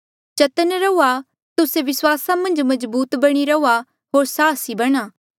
चतन्न रहुआ तुस्से विस्वासा मन्झ मजबूत बणी रहुआ होर साहसी बणा